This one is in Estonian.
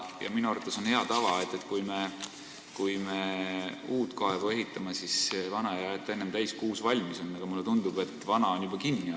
Ja minu arvates on hea tava see, et kui me ehitame uut kaevu, siis ei aeta vana enne täis, kui uus valmis on, aga mulle tundub, et vana on juba kinni aetud.